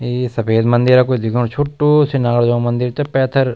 ए सफेद मन्दिरा कुछ दिखेंणु छुटू सी नागराजा मन्दिर त पैथर।